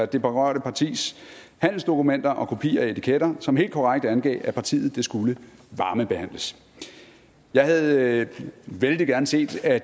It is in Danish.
det berørte partis handelsdokumenter og kopi af etiketter som helt korrekt angav at partiet skulle varmebehandles jeg havde vældig gerne set at